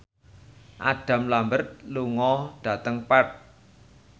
Adam Lambert lunga dhateng Perth